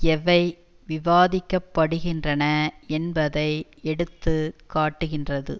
எவை விவாதிக்க படுகின்றன என்பதை எடுத்து காட்டுகின்றது